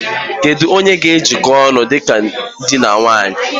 Kedu onye ga ejiko ụnụ dịka dị na nwunye?